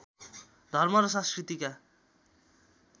धर्म र संस्कृतिका